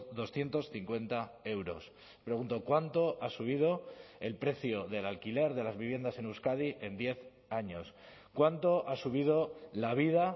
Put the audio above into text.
doscientos cincuenta euros pregunto cuánto ha subido el precio del alquiler de las viviendas en euskadi en diez años cuánto ha subido la vida